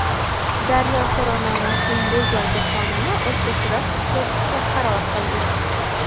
Daryo so‘rovnomasining bu galgi sonini o‘zgacharoq o‘tkazishga qaror qildik.